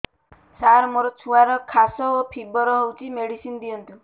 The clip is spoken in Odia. ସାର ମୋର ଛୁଆର ଖାସ ଓ ଫିବର ହଉଚି ମେଡିସିନ ଦିଅନ୍ତୁ